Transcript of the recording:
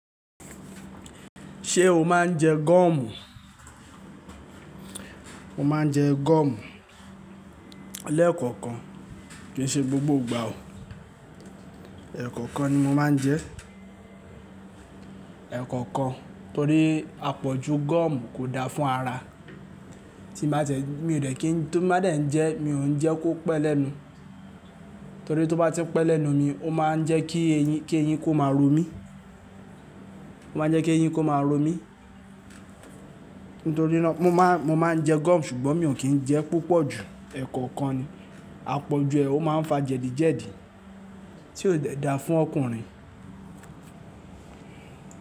Ṣé o máa ń jẹ gọ́ọ̀mù? Mo máa ń jẹ gọ́ọ̀mù léẹ̀kọ̀kan, kì í ṣe gbogbo ìgbà o. Ẹ̀kọ̀kan ni mo máa ń jẹ. Ẹ̀kọ̀kan torí àpọ̀jù gọ́ọ̀mù kò da fún ara. Tí n bá ti ẹ, mi ò dẹ́ kí n tó bá dẹ̀ jẹ́, mi ò ń jẹ́ kó pẹ́ lẹ́nu. Torí tó bá ti n pẹ́ lẹ́nu mi, ó máa ń jẹ́ kí eyín, kí eyín kó máa ró mi. Ó máa ń jẹ́ kí eyín kó máa ró mi. Nítorí ná, mo má, mo má ń jẹ gọ́ọ̀mù ṣùgbọ́n mi ò kí ń jẹ púpọ̀ jù, ẹ̀kọ̀kan ni. Àpọ̀jù ẹ̀, ó máa ń fa jẹ̀dí jẹ̀dí tí ò de da fún ọkùnrin.